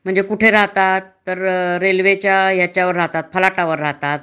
म्हणजे कुठ राहतात तर रेल्वेच्या ह्याच्या फलाटावर राहतात